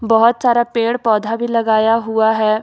बहुत सारा पेड़ पौधा भी लगाया हुआ है।